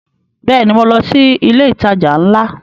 Bẹ́ẹ̀ni, mo lọ sí ilé ìtajà ńlá